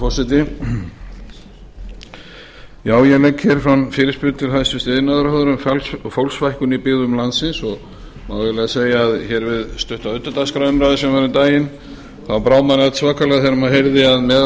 forseti ég legg hér fram fyrirspurn til hæstvirts iðnaðarráðherra um fólksfækkun í byggðum landsins það má eiginlega segja að hér við stutta utandagskrárumræðu sem var um daginn brá manni allsvakalega þegar maður heyrði að meðal